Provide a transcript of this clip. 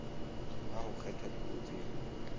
ha ho kgethwa dipuo tseo